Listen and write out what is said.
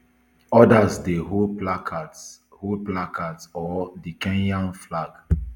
odas dey hold placards hold placards or di kenyan flag